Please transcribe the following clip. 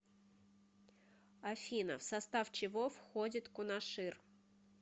афина в состав чего входит кунашир